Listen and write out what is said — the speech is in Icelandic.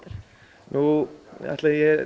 nú ætli